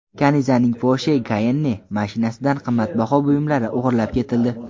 Kanizaning Porsche Cayenne mashinasidan qimmatbaho buyumlari o‘g‘irlab ketildi .